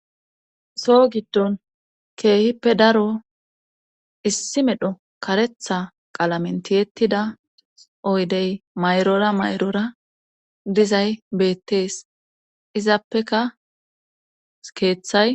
So giddon keehippe daro issi medho karetha qalamentiyettida oydey mayrora mayrora dizay beettees izappeka keeththay